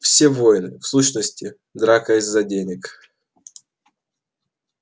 все войны в сущности драка из-за денег